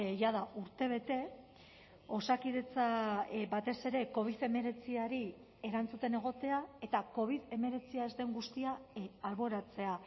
jada urtebete osakidetza batez ere covid hemeretziari erantzuten egotea eta covid hemeretzia ez den guztia alboratzea